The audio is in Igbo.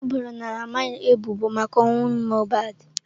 E boro Naira Marley ebubo maka ọnwụ Mohbad.